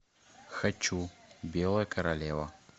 хочу белая королева